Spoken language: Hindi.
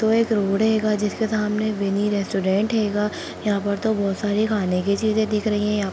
तो एक रोड हेगा जिसके सामने विनि रेस्टोरेंट हेगा यहाँ पर तो बहुत सारी खाने की चींज़े दिख रही हैं।